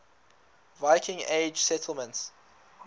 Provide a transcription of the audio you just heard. viking age settlements